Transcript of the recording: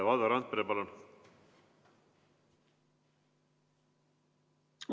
Valdo Randpere, palun!